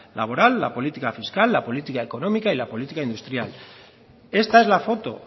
laboral la política fiscal la política económica y la política industrial esta es la foto